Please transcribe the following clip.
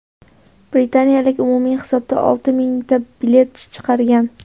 Britaniyalik umumiy hisobda olti mingta bilet chiqargan.